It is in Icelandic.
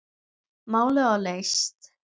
Málið var leyst.